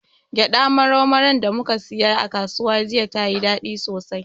Gyaɗa marau maran da muka siya a kasuwa jiya, tayi daɗi sosai.